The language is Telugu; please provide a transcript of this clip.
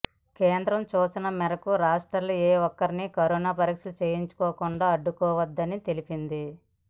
కేంద్రం సూచన మేరకు రాష్ట్రాలు ఏ ఒక్కరిని కరోనా పరీక్షలు చేయించుకోకుండా అడ్డుకోవద్దని తెలిపింది